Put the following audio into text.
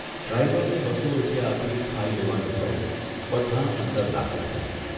ડ્રાઇવરને બસો રૂપિયા આપી ખાઇ લેવાનું કહી બધાં અંદર દાખલ થયાં.